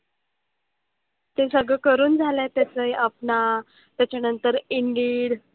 ते सगळं करून झालंय त्याचंही अपना, त्याच्यानंतर indeed.